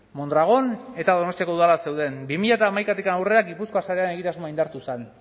mondragon eta donostiako udalan zeuden bi mila hamaikatik aurrera gipuzkoa sarean egitasmoa indartu zen